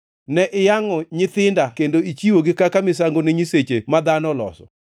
Ne iyangʼo nyithinda kendo ichiwogi kaka misango ne nyiseche ma dhano oloso.